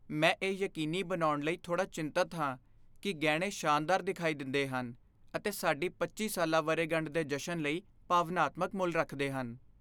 ਮੈਂ ਇਹ ਯਕੀਨੀ ਬਣਾਉਣ ਲਈ ਥੋੜ੍ਹਾ ਚਿੰਤਤ ਹਾਂ ਕਿ ਗਹਿਣੇ ਸ਼ਾਨਦਾਰ ਦਿਖਾਈ ਦਿੰਦੇ ਹਨ ਅਤੇ ਸਾਡੀ ਪੱਚੀ ਸਾਲਾ ਵਰ੍ਹੇਗੰਢ ਦੇ ਜਸ਼ਨ ਲਈ ਭਾਵਨਾਤਮਕ ਮੁੱਲ ਰੱਖਦੇ ਹਨ।